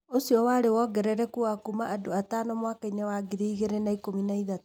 ũcio warĩ wongerereku wa kuuma andũ atano mwaka-inĩ wa 2013.